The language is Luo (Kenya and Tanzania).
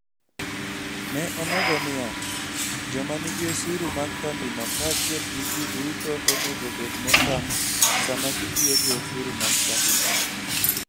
Ne omedo niya: "Joma nigi osuru mag kambino kaachiel gi ji duto onego obed motang' sama gitiyo gi osuru mag kambino".